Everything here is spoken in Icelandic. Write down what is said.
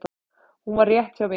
Hún var rétt hjá mér.